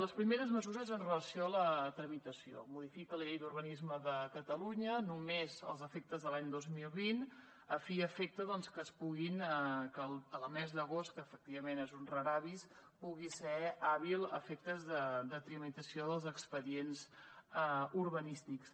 les primeres mesures en relació amb la tramitació modifica la llei d’urbanisme de catalunya només als efectes de l’any dos mil vint a fi i efecte doncs que el mes d’agost que efectivament és un rara avis pugui ser hàbil a efectes de tramitació dels expedients urbanístics